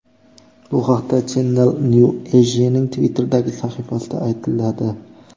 Bu haqda Channel New Asia’ning Twitter’dagi sahifasida aytiladi .